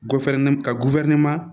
ka